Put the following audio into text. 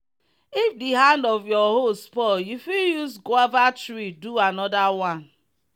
if the hand of your hoe spoil you fit use guava tree do another one.